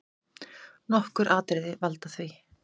Nokkur atriði valda því.